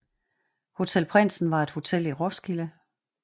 Hotel Prindsen var et hotel i Roskilde